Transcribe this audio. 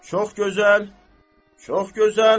Çox gözəl, çox gözəl.